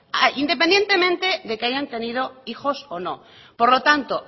independientemente de que hayan tenido hijos o no por lo tanto